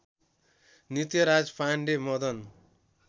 Nityaraj Pande Madan